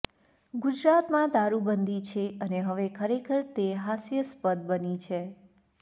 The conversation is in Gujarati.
ગુજરાતમાં દારુ બંધી છે અને હવે ખરેખર તે હાસ્યાસ્પદ બની છે